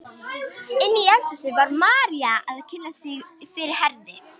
Inni í eldhúsi var María að kynna sig fyrir Herði.